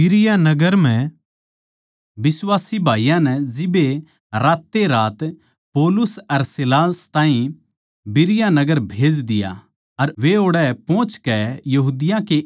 बिश्वासी भाईयाँ नै जिब्बे रातेरात पौलुस अर सीलास ताहीं बिरीया नगर भेज दिया अर वे ओड़ै पोहचकै यहूदियाँ के आराधनालय म्ह गये